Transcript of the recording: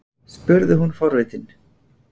spurði hún forvitin.